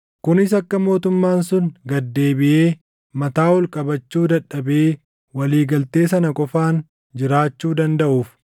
kunis akka mootummaan sun gad deebiʼee mataa ol qabachuu dadhabee walii galtee sana qofaan jiraachuu dandaʼuuf.